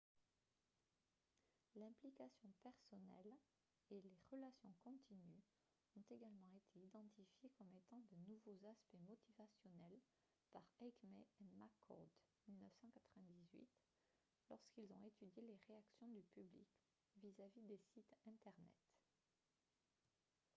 « l’implication personnelle » et « les relations continues » ont également été identifiées comme étant de nouveaux aspects motivationnels par eighmey et mccord 1998 lorsqu’ils ont étudié les réactions du public vis-à-vis des sites internet